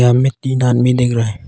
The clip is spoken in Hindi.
इनमें तीन आदमी दिख रहा है।